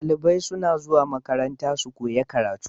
Dalibai suna zuwa makaranta su koya karatu